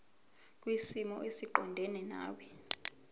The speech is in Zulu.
kwisimo esiqondena nawe